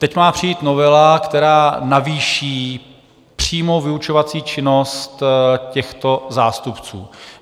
Teď má přijít novela, která navýší přímou vyučovací činnost těchto zástupců.